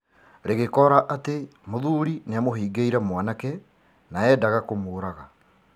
Rĩgĩkora atĩ mũthuri nĩamũhingĩire mwanake na endaga kũmũũraga.